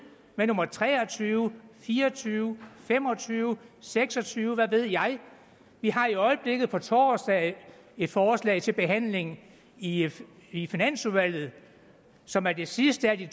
med nummer tre og tyve fire og tyve fem og tyve seks og tyve hvad ved jeg vi har i øjeblikket på torsdag et forslag til behandling i i finansudvalget som er det sidste af de